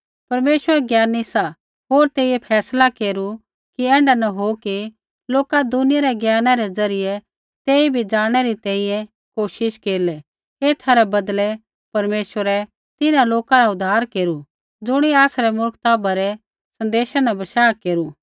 परमेश्वर ज्ञानी सा होर तेइयै फैसला केरू कि ऐण्ढा न हो कि लोका दुनिया रै ज्ञाना रै ज़रियै तेइबै जाणनै री कोशिश केरलै एथा रै बदलै परमेश्वरै तिन्हां लोका रा उद्धार केरू ज़ुणियै आसरै मुर्खता भरै सन्देशा न बशाह केरू